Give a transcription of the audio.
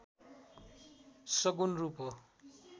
सगुण रूप हो